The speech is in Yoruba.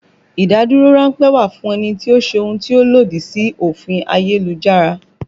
Ìdádúró ránpẹ́ wà fún ẹni tó ṣe ohun tí ó lòdì sí òfin ayélujára